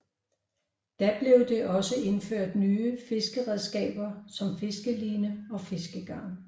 Da blev det også indført nye fiskeredskaber som fiskeline og fiskegarn